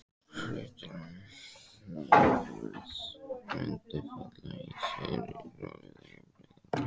hlutir án nafnverðs, mundi fela í sér of róttæka breytingu.